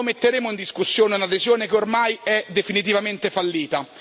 Quando metteremo in discussione un'adesione che ormai è definitivamente fallita?